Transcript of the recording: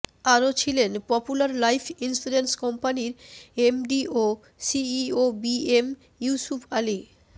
আরো ছিলেন popular life insurance কম্পানির এমডি ও CEO B M Yusuf Ali